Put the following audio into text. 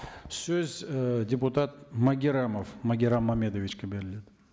сөз ы депутат магеррамов магеррам мамедовичке беріледі